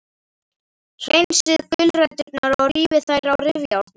Hreinsið gulræturnar og rífið þær á rifjárni.